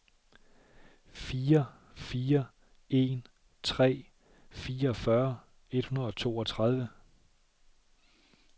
fire fire en tre fireogfyrre et hundrede og toogtredive